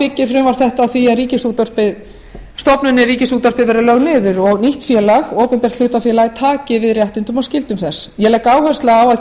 byggir frumvarp þetta á því að stofnunin ríkisútvarpið verði lögð niður og nýtt félag opinbert hlutafélag taki við réttindum og skyldum þess ég legg áherslu á að